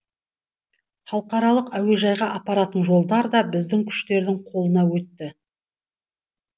халықаралық әуежайға апаратын жолдар да біздің күштердің қолына өтті